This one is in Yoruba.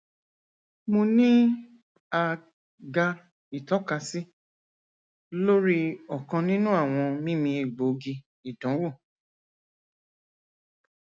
mo ni a ga itọkasi lori ọkan ninu awọn mi mi egboogi idanwo